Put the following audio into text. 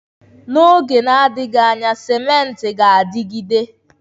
N'oge na-adịghị anya, cimenti ga-adịgide.